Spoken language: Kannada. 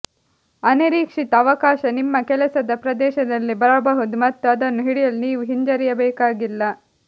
ಅನಿರೀಕ್ಷಿತ ಅವಕಾಶ ನಿಮ್ಮ ಕೆಲಸದ ಪ್ರದೇಶದಲ್ಲಿ ಬರಬಹುದು ಮತ್ತು ಅದನ್ನು ಹಿಡಿಯಲು ನೀವು ಹಿಂಜರಿಯಬೇಕಾಗಿಲ್ಲ